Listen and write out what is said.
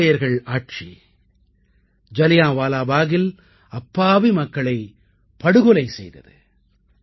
ஆங்கிலேயர்கள் ஆட்சி ஜலியான்வாலாபாகில் அப்பாவி மக்களைப் படுகொலை செய்தது